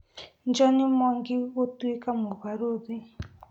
John Mwangi gũtũĩka mũbarũthi